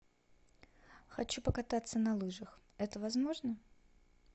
хочу покататься на лыжах это возможно